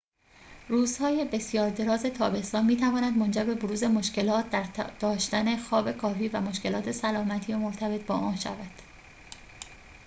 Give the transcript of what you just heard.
روزهای بسیار دراز تابستان می‌تواند منجر به بروز مشکلات در داشتن خواب کافی و مشکلات سلامتی مرتبط با آن شود